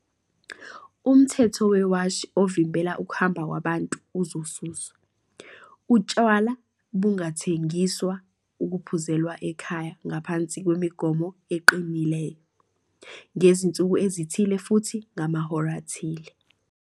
Umthetho wewashi ovimbela ukuhamba kwabantu uzosuswa. "Utshwala bungathengiswa ukuphuzelwa ekhaya ngaphansi kwemigomo eqinileyo, ngezinsuku ezithile futhi ngamahora athile."